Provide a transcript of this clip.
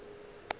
o ile a leka go